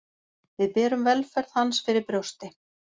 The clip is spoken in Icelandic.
Við berum velferð hans fyrir brjósti